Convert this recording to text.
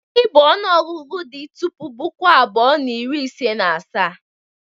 Gịnị bụ onuogugu di tupu puku abuo na iri ise na asaa?